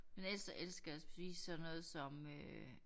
Men ellers så elsker jeg at spise sådan noget som øh